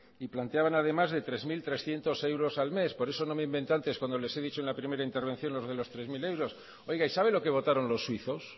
y planteaban además de tres mil trescientos euros al mes por eso no me inventé antes cuando les he dicho en la primera intervención lo de los tres mil euros oiga y sabe lo que votaron los suizos